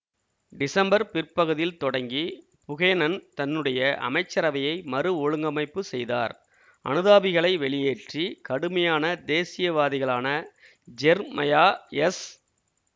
December பிற்பகுதியில் தொடங்கி Buchanan தன்னுடைய அமைச்சரவையை மறு ஒழுங்கமைப்பு செய்தார் அனுதாபிகளை வெளியேற்றி கடுமையான தேசியவாதிகளான ஜெர்மயா எஸ்